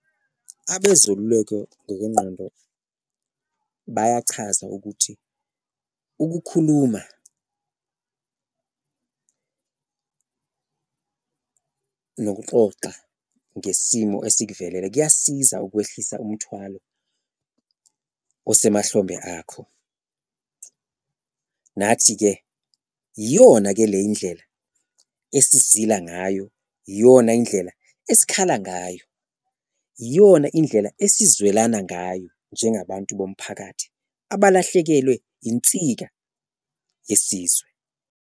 Abezoluleko ngokwengqondo bayachaza ukuthi ukukhuluma nokuxoxa ngesimo esikuvelele kuyasiza ukwehlisa umthwalo osemahlombe akho, nathi-ke iyona-ke le indlela esizila ngayo, iyona indlela esikhala ngayo, iyona indlela esizwelana ngayo njengabantu bomphakathi abalahlekelwe insika yesizwe.